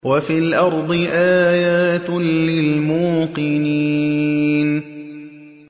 وَفِي الْأَرْضِ آيَاتٌ لِّلْمُوقِنِينَ